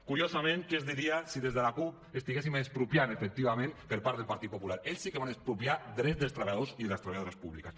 curiosament què es diria si des de la cup estiguéssim expropiant efectivament per part del partit popular ells sí que van expropiar drets dels treballadors i de les treballadores públiques